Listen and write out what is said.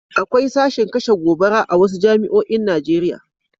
Akwai sashin kashe gobara a wasu jami'oin Najeriya.